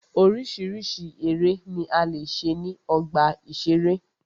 Oríṣiríṣi eré ni a lè ṣe ní ọgbà ìṣeré.